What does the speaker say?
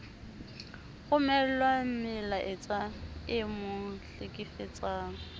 romellwa melaetsa e mo hlekefetsang